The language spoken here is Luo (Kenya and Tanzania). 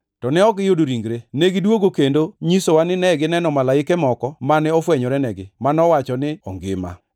to ok negiyudo ringre. Negidwogo kendo nyisowa ni negineno malaike moko mane ofwenyorenigi, manowacho ni ongima.